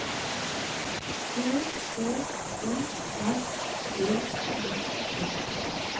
T H O R D I S